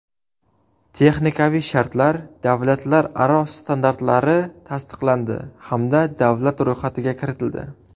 Texnikaviy shartlar” davlatlararo standartlari tasdiqlandi hamda davlat ro‘yxatiga kiritildi.